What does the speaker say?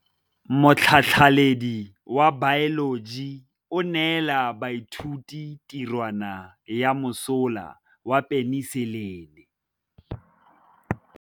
Motlhatlhaledi wa baeloji o neela baithuti tirwana ya mosola wa peniselene.